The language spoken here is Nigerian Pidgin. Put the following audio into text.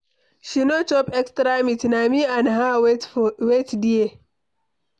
She no chop extra meat, na me and her wait there.